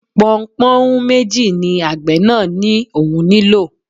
Pọnpọ́nhún méjì ni àgbẹ̀ náà ní òun nílò